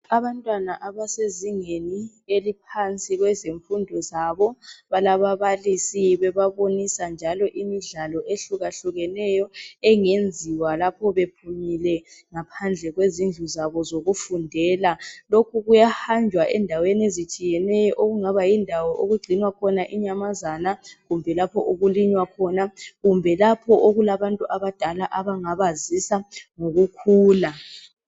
Abantwana abasezingeni eliphansi kwezifundo zabo balababalisi bebabonisa njalo imidlalo ehlukeneyo engenziwa bephumile ngaphandle kwezindlu zabo zokufundela lokhu kuyahanjwa endaweni ezitshiyeneyo okungaba yindawo yokugcinwa khona inyamazana kumbe lapho okulinywa khona kumbe lapho okulabantu abadala abangabazisa ngokukhula